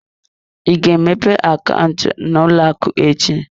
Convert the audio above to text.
Ị ga-emepe akaụntụ n'ụlọ akụ echi?